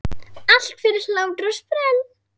Allt fyrir hlátur og sprell!